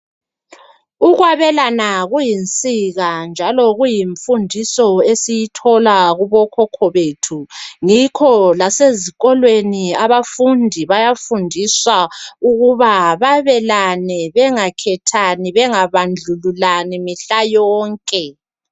Ukwabelana kuyinsika njalo kuyimfundiso esiyithola kubokhokho bethu yikho lasezikolweni abafundi bayafundiswa ukuba balelane bengakhethani bengabandlululani mihla yonke.